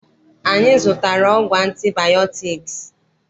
Anyị zụtara ọgwụ antibayọtiks